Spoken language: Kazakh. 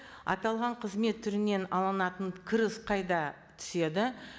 аталған қызмет түрінен алынатын кіріс қайда түседі